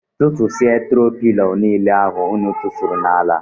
Tụtụsia tro pilo niile ahụ ụnụ tufuru n'ala.